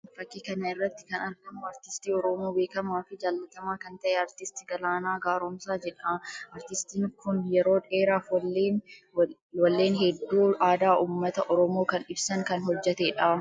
Fakkii kana irratti kan argamu aartistii Oromoo beekamaa fi jaallatamaa kan tahe aartist Galaanaa Garoomsaa jedha. Aartistiin kun yeroo dheeraaf walleen hedduu aadaa uummata Oromoo kan ibsan kan hojjetee dha.